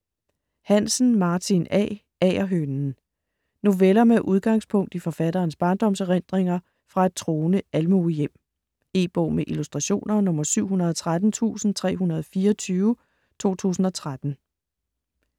Hansen, Martin A.: Agerhønen Noveller med udgangspunkt i forfatterens barndomserindringer fra et troende almuehjem. E-bog med illustrationer 713324 2013.